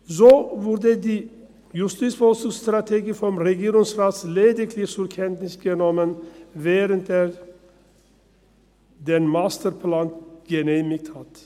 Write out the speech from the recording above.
So wurde die JVS vom Regierungsrat lediglich zur Kenntnis genommen, während er den Masterplan genehmigt hat.